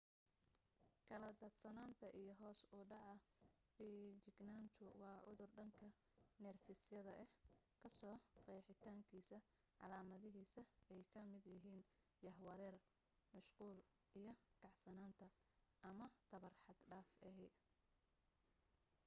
kala daad sanaanta iyo hoos u dhaca feejignaantu waa cudur dhanka neerfisyada ah kasoo qeexitaankiisa calaamadihiisa ay ka mid yihiin jahwareer mashquul iyo kacsanaanta ama tamar xad dhaaf ahi